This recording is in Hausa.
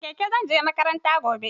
Da keke zan je makaranta gobe.